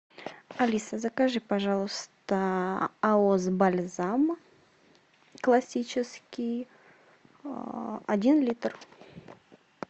алиса закажи пожалуйста аос бальзам классический один литр